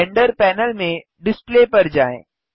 render panel में display पर जाएँ